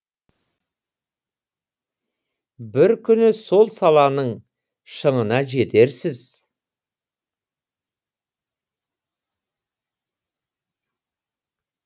бір күні сол саланың шыңына жетерсіз